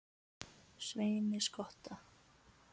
Sveini skotta.